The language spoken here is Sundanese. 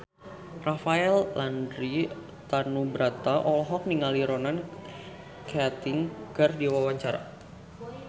Rafael Landry Tanubrata olohok ningali Ronan Keating keur diwawancara